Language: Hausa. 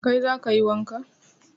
Kai za ka yi wanka